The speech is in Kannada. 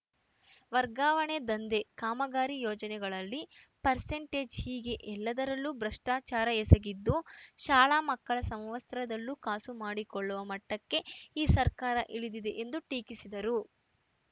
ವರ್ಗಾವಣೆ ದಂಧೆ ಕಾಮಗಾರಿ ಯೋಜನೆಗಳಲ್ಲಿ ಪರ್ಸೆಂಟೇಜ್‌ ಹೀಗೆ ಎಲ್ಲದರಲ್ಲೂ ಭ್ರಷ್ಟಾಚಾರ ಎಸಗಿದ್ದು ಶಾಲಾ ಮಕ್ಕಳ ಸಮವಸ್ತ್ರದಲ್ಲೂ ಕಾಸು ಮಾಡಿಕೊಳ್ಳುವ ಮಟ್ಟಕ್ಕೆ ಈ ಸರ್ಕಾರ ಇಳಿದಿದೆ ಎಂದು ಟೀಕಿಸಿದರು